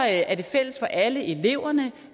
er det fælles for alle eleverne